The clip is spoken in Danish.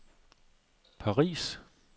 Paris